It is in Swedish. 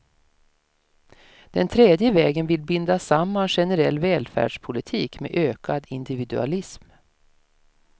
Den tredje vägen vill binda samman generell välfärdspolitik med ökad individualism.